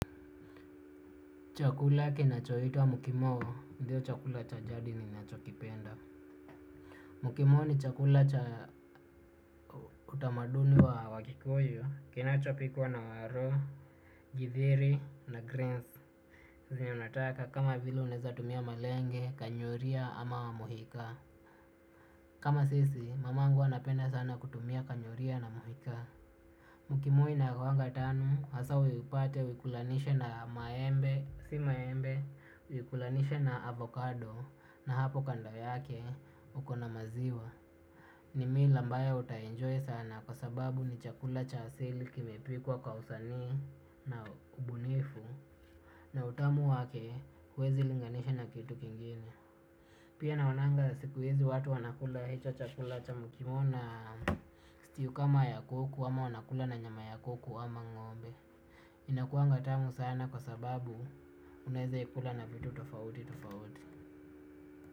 Chakula kinachoitwa mkimoo, ndiyo chakula cha jadi ninachokipenda. Mkimoo ni chakula utamaduni wa wakikuyu, kinachopikwa na waro, jithiri na greens. Sisi ni unataka kama vile unaweza tumia malenge, kanyoria ama mohika. Kama sisi, mama angu anapenda sana kutumia kanyoria na mohika. Mkimoo inakuwaga tamu, hasa ipate uikulanishe na maembe, si maembe, uikulanishe na avocado. Na hapo kando yake uko na maziwa. Nimi ambayo utainjoy sana kwa sababu ni chakula cha asili kimepikwa kwa usanii na ubunifu. Na utamu wake huwezi linganisha na kitu kingine. Pia naonanga siku hizi watu wanakula hicho chakula cha mukimoo na Kistiyukama ya kuku ama wanakula na nyama ya kuku ama ng'ombe. Inakuaga tamu sana kwa sababu unaweza ikula na vitu tofauti tofauti.